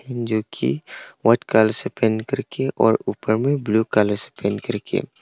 जोकि white colour से paint करके और ऊपर में ब्लू कलर से पेंट करके--